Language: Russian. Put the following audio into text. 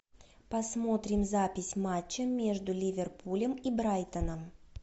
посмотрим запись матча между ливерпулем и брайтоном